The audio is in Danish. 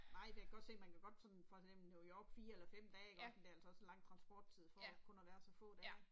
Nej for jeg kan godt se man kan godt sådan for eksempel New York 4 eller 5 dage iggå men det er altså også lang transporttid for kun at være der så få dage